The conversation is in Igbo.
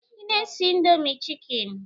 Ị na-esi indomie chikeni?